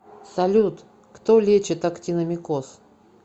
салют кто лечит актиномикоз